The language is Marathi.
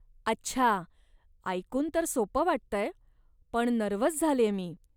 अच्छा, ऐकून तर सोपं वाटतंय, पण नर्व्हस झालेय मी.